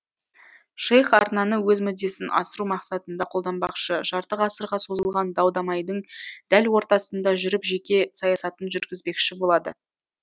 шейх арнаны өз мүддесін асыру мақсатында қолданбақшы жарты ғасырға созылған дау дамайдың дәл ортасында жүріп жеке саясатын жүргізбекші болады